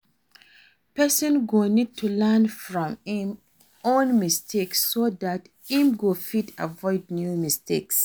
Person go need to learn from im own mistakes so dat im go fit avoid new mistakes